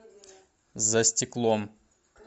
за стеклом